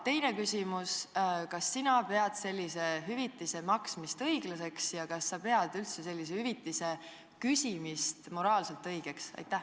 Teine küsimus: kas sina pead sellise hüvitise maksmist õiglaseks ja kas sa pead sellise hüvitise küsimist moraalselt õigeks?